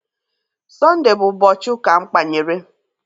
Sọnde bụ ụbọchị ụka mkpanyere